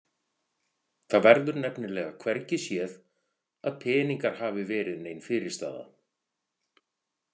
Það verður nefnilega hvergi séð að peningar hafi verið nein fyrirstaða.